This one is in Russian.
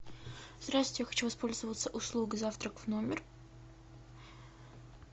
здравствуйте я хочу воспользоваться услугой завтрак в номер